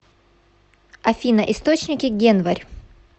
афина источники генварь